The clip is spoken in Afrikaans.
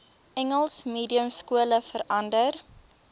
engels mediumskole verander